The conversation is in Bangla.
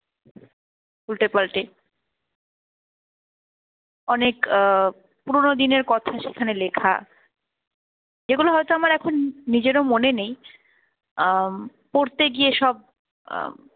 উল্টে পাল্টে। অনেক আহ পুরনো দিনের কথা সেখানে লেখা যেগুলো হয়তো আমার এখন নিজেরও মনে নেই আহ পড়তে গিয়ে সব আহ